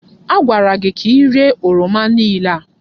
Agwara gị ka iréé oroma niile a!